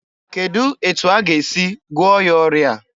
Kedụ etu aga esi gụọ ya ọrịa a?